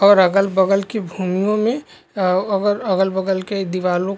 और अगल-बगल की भूमियों में अअअ अगल-बगल के दीवारों--